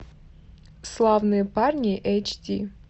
славные парни эйч ди